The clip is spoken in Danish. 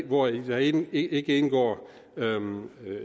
hvori der ikke ikke indgår